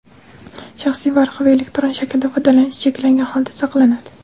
shaxsiy varaqa) va elektron shaklda foydalanish cheklangan holda saqlanadi.